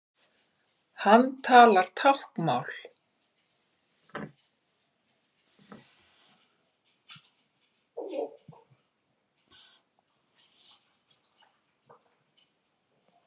Hann talar táknmál.